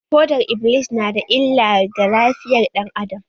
Fodar-iblis na da illa ga lafiyar ɗan adam.